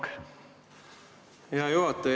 Hea juhataja!